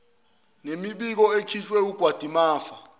nemibiko ekhishwe wumgadimafa